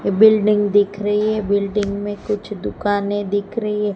Building दिख रही है बिल्डिंग में कुछ दुकानें दिख रही हैं।